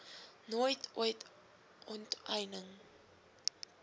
nooit ooit onteiening